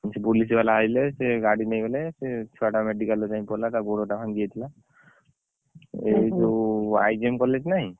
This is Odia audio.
Police ବାଲା ଆଇଲେ ସେ ଗାଡି ନେଇଗଲେ ସେ ଛୁଆ ଟା medical ଜାଇଁ ଗଲା ତା ଗୋଡ ଟା ଭାଙ୍ଗି ଯାଇଥିଲା ଏଇ ଯୋଉ IGM collage ନାହିଁ